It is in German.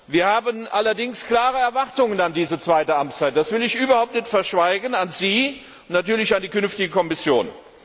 Wir haben allerdings klare Erwartungen an diese zweite Amtszeit das will ich überhaupt nicht verschweigen an Sie und natürlich an die künftige Kommission.